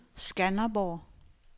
Skanderborg